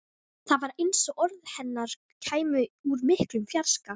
Það var eins og orð hennar kæmu úr miklum fjarska.